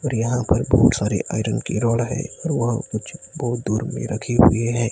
और यहां पर बहोत सारे आयरन की रॉड है और कुछ बहुत दूर में रखे हुए हैं।